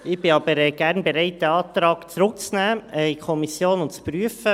Ich bin aber gerne bereit, den Antrag in die Kommission zurückzunehmen und zu prüfen.